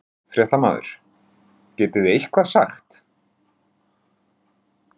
Fréttamaður: Getið þið eitthvað sagt?